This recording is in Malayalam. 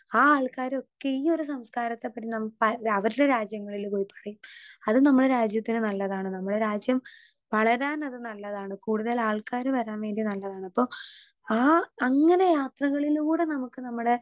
സ്പീക്കർ 2 ആ ആൾക്കാരൊക്കെ ഈ സംസ്കാരത്തെ പറ്റി നം പ അവര്ടെ രാജ്യങ്ങളില് പോയി പറയും അത് നമ്മളെ രാജ്യത്തിന് നല്ലതാണ് നമ്മളെ രാജ്യം വളരാനത് നല്ലതാണ് കൂട്തലാൾക്കാര് വരാൻ വേണ്ടി നല്ലതാണ് അപ്പൊ ആ അങ്ങനെ യാത്രകളിലൂടെ നമുക്ക് നമ്മടെ.